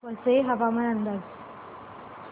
वसई हवामान अंदाज